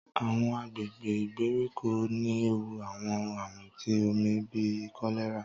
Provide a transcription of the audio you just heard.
Àwọn àgbègbè ìgbèríko ní ẹwù àwọn àrùn tí omí bí kọlerá